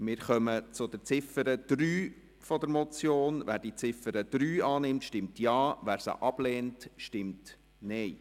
Wer die Ziffer 3 annehmen will, stimmt Ja, wer diese ablehnt, stimmt Nein.